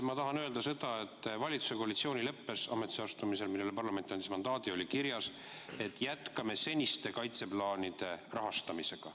Ma tahan öelda seda, et valitsuse koalitsioonileppes, millele parlament andis mandaadi, oli kirjas, et jätkame seniste kaitseplaanide rahastamist.